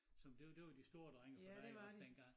Sådan det det var de store drenge der var iggås dengang